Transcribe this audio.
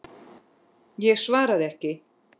Ég svaraði ekki.